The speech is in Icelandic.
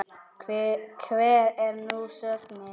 Hver er nú sögnin?